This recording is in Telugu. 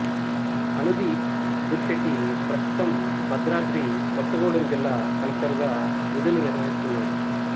అనుదీప్ దురిశెట్టి ప్రస్తుతం భద్రాద్రి కొత్తగూడెం జిల్లా కలెక్టరుగా విధులు నిర్వహిస్తున్నాడు